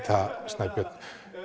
það Snæbjörn